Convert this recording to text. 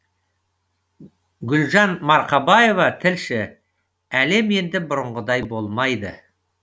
гүлжан марқабаева тілші әлем енді бұрынғыдай болмайды